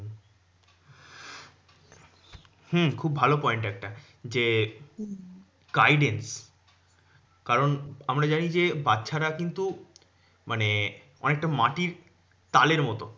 হম খুব ভালো point একটা। যে হম guidance কারণ আমরা জানি যে বাচ্চারা কিন্তু মানে অনেকটা মাটির তালের মতো।